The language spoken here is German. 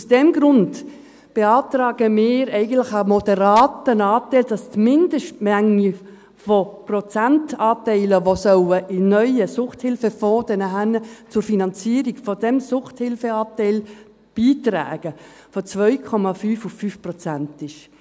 Und aus diesem Grund beantragen wir eigentlich einen moderaten Anteil, damit die Mindestmenge der Prozentanteile, die in den neuen Suchthilfefonds fliesst und danach zur Finanzierung dieses Suchthilfeanteils beitragen soll, von 2,5 auf 5 Prozent ansteigt.